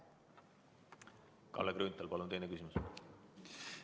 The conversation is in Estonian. Kalle Grünthal, palun, teine küsimus!